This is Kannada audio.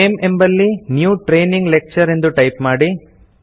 ನೇಮ್ ಎಂಬಲ್ಲಿ ನ್ಯೂ ಟ್ರೇನಿಂಗ್ ಲೆಕ್ಚರ್ ಎಂದು ಟೈಪ್ ಮಾಡಿ